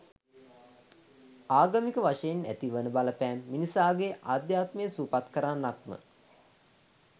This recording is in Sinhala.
ආගමික වශයෙන් ඇති වන බලපෑම මිනිසාගේ අධ්‍යාත්මය සුවපත් කරන්නක්ම